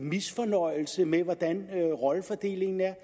misfornøjelse med hvordan rollefordelingen er